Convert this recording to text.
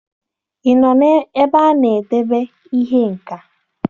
Ị nọ n'ebe a na-edebe ihe nka?